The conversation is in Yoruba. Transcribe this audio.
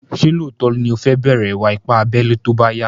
Ṣé lóòtó ní o fẹ́ bẹ̀rẹ̀ ìwà ipá abẹ́lé tóbá yá?